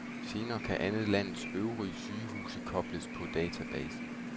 Senere kan alle landets øvrige sygehuse kobles på databasen.